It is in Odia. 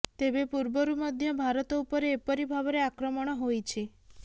ତେବେ ପୂର୍ବରୁ ମଧ୍ୟ ଭାରତ ଉପରେ ଏପରି ଭାବରେ ଆକ୍ରମଣ ହୋଇଛି